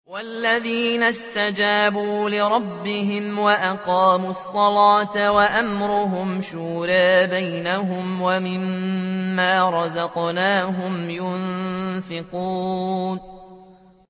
وَالَّذِينَ اسْتَجَابُوا لِرَبِّهِمْ وَأَقَامُوا الصَّلَاةَ وَأَمْرُهُمْ شُورَىٰ بَيْنَهُمْ وَمِمَّا رَزَقْنَاهُمْ يُنفِقُونَ